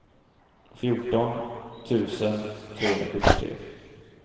fjorton tusen trehundrasjuttiotre